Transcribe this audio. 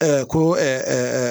ko